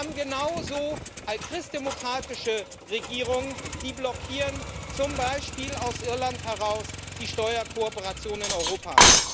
Wir haben genauso christdemokratische Regierungen, die blockieren zum Beispiel aus Irland heraus die Steuerkooperation in Europa.